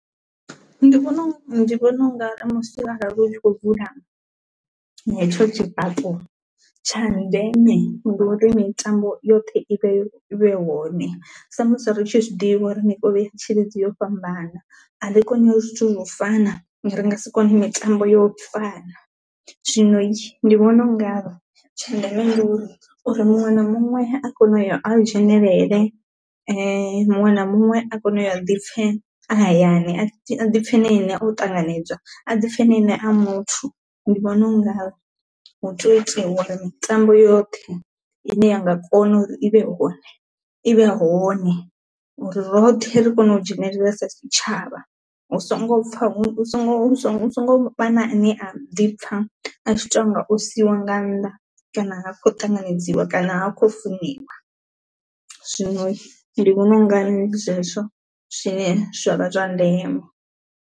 Ndi vhona ndi vhona ungari musi arali hu tshi khou vula hetsho tshifhaṱo tsha ndeme ndi uri mitambo yoṱhe ivha yo i vha i hone sa musi ri tshi zwiḓivha uri mikovhe ya tshilidzi i ya fhambana, a ri koni zwithu zwine zwa fana ende a ri nga si kone mitambo yo fana. Zwino ndi vhona ungari tsha ndeme ndi uri uri muṅwe na muṅwe a kone u ya a dzhenelele muṅwe na muṅwe a kone u ya a ḓipfe hayani a ḓipfe na ene o ṱanganedzwa a ḓipfhe na ene a muthu ndi vhona ungari hu tea u itiwa uri mitambo yoṱhe ine yanga kona uri i vhe i vhe hone uri roṱhe ri kone u dzhenelela sa tshitshavha, hu songo pfha hu songo vha na a ne a ḓipfa a tshi tou nga o siiwa nga nnḓa kana ha khou ṱanganedziwa kana ha khou funiwa, zwino ndi vhona ungari ndi zwezwo zwine zwa vha zwa ndeme.